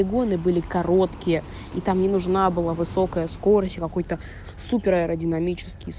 бегуны были короткие и там не нужна была высокая скорость какой то супер аэродинамические